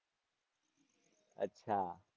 અચ્છા.